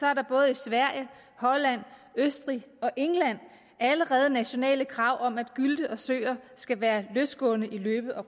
er der både i sverige holland østrig og england allerede nationale krav om at gylte og søer skal være løsgående i løbe og